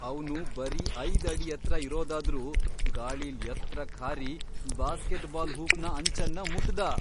ಅವ್ನು ಬರೀ ಐದ್ ಅಡಿ ಎತ್ರ ಇರೋದಾದ್ರೂ ಗಾಳಿಲ್ ಎತ್ರಕ್ ಹಾರಿ ಬ್ಯಾಸ್ಕೆಟ್ ಬಾಲ್ ಹೂಪ್ನ ಅಂಚನ್ನ ಮುಟ್ದ.